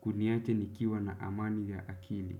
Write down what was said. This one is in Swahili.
kuniacha nikiwa na amani ya akili.